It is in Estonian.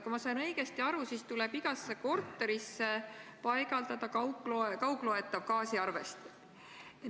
Kui ma sain õigesti aru, siis tuleb igasse korterisse paigaldada kaugloetav gaasiarvesti.